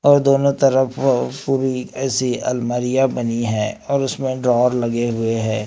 और दोनों तरफ पूरी ऐसी अलमारियां बनी हैं और उसमें ड्रॉवर लगे हुए हैं।